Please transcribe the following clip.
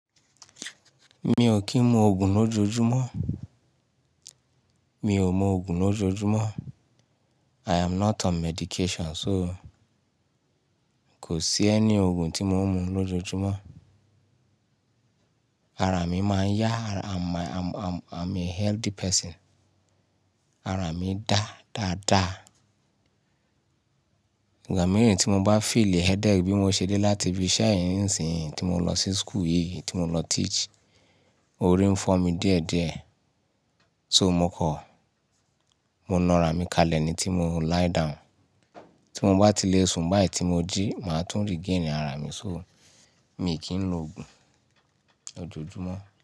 Mi ò kí ń mu òògùn lójoojúmọ́. Mi ò mọ òògùn lójoojúmọ́. I am not on medication so kò sí ẹni òògùn tí mo ń mu lójoojúmọ́. Ara mi máa ń yá, I'm a healthy person. Ara mi dá dáadáa. Ìgbà mìíràn tí mo bá feel headache bí mo ṣe dé láti bi iṣẹ́ nísìnyí tí mo lọ sí school yìí tí mo lọ teach, orí ń fọ́ mi díẹ̀díẹ̀. So mo kọ, mo na ara mi kalẹ̀ ni tí mo lie down. Tí mo bá ti le sun báyìí tí mo jí, màá tún regain ara mi so mi kì ń lo òògùn lójoojúmọ́.